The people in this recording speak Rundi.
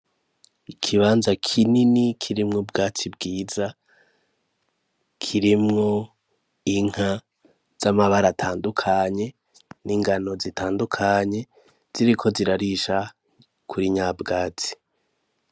Ikibanza kinini kirimwo bwatsi bwiza kirimwo inka z'amabara atandukanye n'ingano zitandukanye ziriko zirarisha kuri nyabwasi.